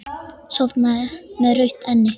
Sofnaði með rautt enni.